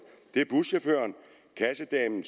det er buschaufføren kassedamen